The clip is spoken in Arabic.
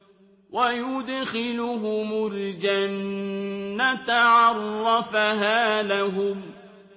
وَيُدْخِلُهُمُ الْجَنَّةَ عَرَّفَهَا لَهُمْ